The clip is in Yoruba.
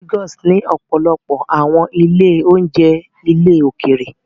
Lagos ní ọ̀pọ̀lọpọ̀ àwọn ilé-oúnjẹ ilẹ̀ òkèèrè